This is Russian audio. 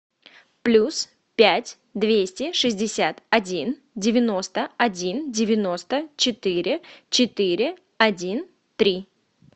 плюс пять двести шестьдесят один девяносто один девяносто четыре четыре один три